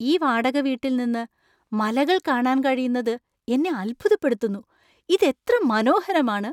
ഈ വാടകവീട്ടിൽ നിന്ന് മലകള്‍ കാണാൻ കഴിയുന്നത് എന്നെ അത്ഭുതപ്പെടുത്തുന്നു. ഇത് എത്ര മനോഹരമാണ് !